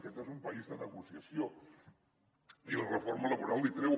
aquest és un país de negociació i la reforma laboral l’hi treu